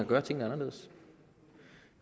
gøre tingene anderledes